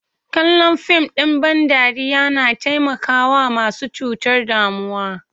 Kallon fim ɗ in ban dariya na taimakawa masu cutar damuwa.